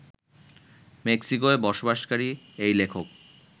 মেক্সিকোয় বসবাসকারী এই লেখক